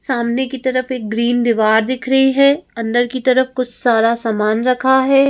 सामने की तरफ एक ग्रीन दीवार दिख रही है अंदर की तरफ कुछ सारा सामान रखा है।